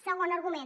segon argument